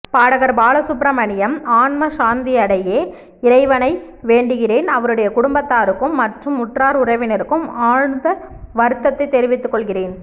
பாடகர் பாலசுப்ரமணியம் ஆன்ம சாந்தியடையே இறைவனை வேண்டுகிறேன் அவருடைய குடும்பத்தாருக்கும் மற்றும் உற்றார் உறவினருக்கும் ஆழ்த்த வருத்தத்தை தெரிவித்துக்கொள்கிறேன்